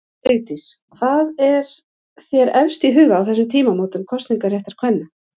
Frú Vigdís, hvað er þér efst í huga á þessum tímamótum kosningaréttar kvenna?